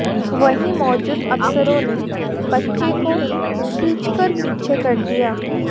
वहीं मौजूद अफसरों ने बच्चे को खींचकर पीछे कर दिया